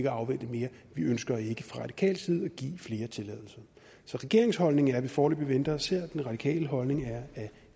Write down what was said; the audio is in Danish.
at afvente mere vi ønsker ikke fra radikal side at give flere tilladelser så regeringens holdning er at vi foreløbig venter og ser den radikale holdning er at